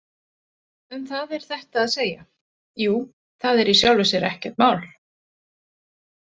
Um það er þetta að segja: Jú, það er í sjálfu sér ekkert mál.